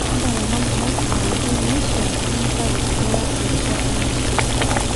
ntalama ngumot tenkoitoi naishiaa nintau eriaa erishata naishiaa